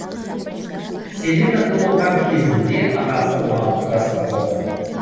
селена туылған кезінде анасы он алты жаста болды